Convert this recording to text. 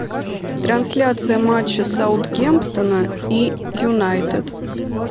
трансляция матча саутгемптона и юнайтед